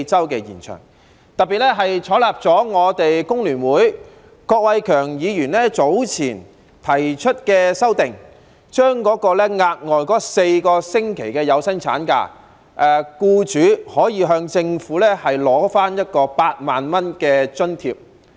此外，政府特別採納了工聯會郭偉强議員早前提出的修訂，讓僱主可以就額外4星期的有薪產假，向政府申請8萬元的津貼。